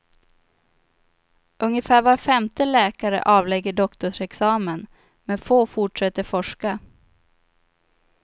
Ungefär var femte läkare avlägger doktorsexamen, men få fortsätter forska.